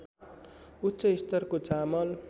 उच्च स्तरको चामल